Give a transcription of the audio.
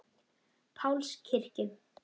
Páls kirkju.